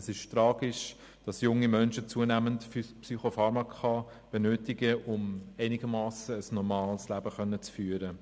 Es ist tragisch, dass junge Menschen zunehmend Psychopharmaka benötigen, um ein einigermassen normales Leben führen zu können.